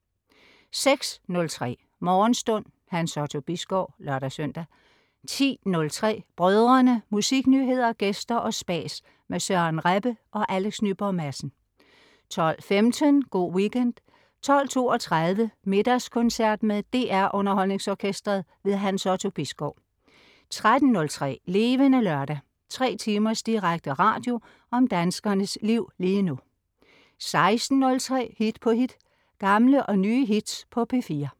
06.03 Morgenstund. Hans Otto Bisgaard (lør-søn) 10.03 Brødrene. Musiknyheder, gæster og spas med Søren Rebbe og Alex Nyborg Madsen 12.15 Go' Weekend 12.32 Middagskoncert med DR Underholdningsorkestret. Hans Otto Bisgaard 13.03 Levende Lørdag. Tre timers direkte radio om danskernes liv lige nu 16.03 Hit på hit. Gamle og nye hits på P4